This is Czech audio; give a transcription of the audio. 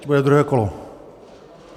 Bude druhé kolo.